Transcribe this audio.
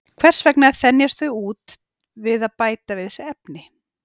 Hvers vegna þenjast þau ekki út við að bæta við sig efni?